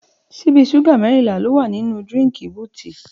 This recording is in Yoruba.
Ṣibi ṣúgà mẹrínlà lò wá ninu dírìnkí bútì